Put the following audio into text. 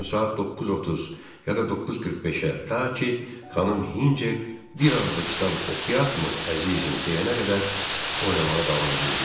Adətən saat 9:30, ya da 9:45-ə, ta ki xanım Hinçer "bir az da kitab oxuyaq mı əzizim?" deyənə qədər oynamağa davam edirdilər.